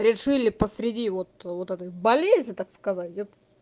решили посреди вот вот этой болезни так сказать